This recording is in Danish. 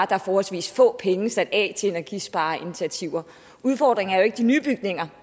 der er forholdsvis få penge sat af til energispareinitiativer udfordringen er jo ikke de nye bygninger